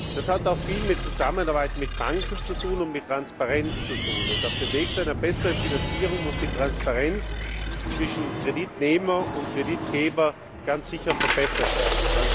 Das hat auch viel mit Zusammenarbeit mit Banken und mit Transparenz zu tun, und auf dem Weg zu einer besseren Finanzierung muss die Transparenz zwischen Kreditnehmer und Kreditgeber ganz sicher verbessert werden.